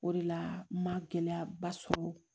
O de la n ma gɛlɛyaba sɔrɔ